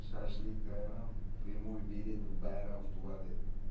шашлык айран прямой билет в байрам в туалет